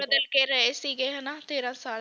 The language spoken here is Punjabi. ਮਿਲ ਕੇ ਰਹੇ ਸੀਗੇ ਹੈ ਨਾ ਤੇਰਾਂ ਸਾਲ